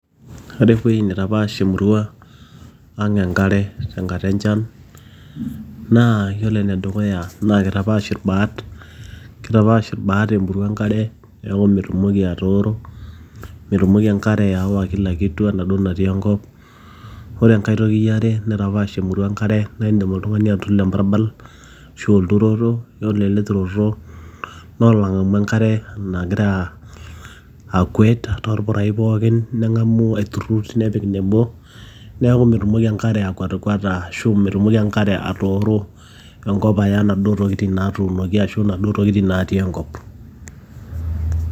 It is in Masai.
ore ewueji nitapaash emurua ang enkare tenkata enchan naa yiolo enedukuya naa kitapaash irbat kitapaash irbat emurua enkare neeku metumoki atooro metumoki enkare aawa kila kitu enaduo natii enkop ore enkae toki yiare naitapaash emurua enkare naa indim oltung'ani atuturo embarbal ashu olturoto yiolo ele turoto naa olong'amu enkare nagira akwet torpurai pookin neng'amu aiturrur nepik nebo neeku metumoki enkare akwatikwata ashu metumoki enkare atooro enkop aya inaduo tokitin naatunoki ashu inaduo tokitin natii enkop.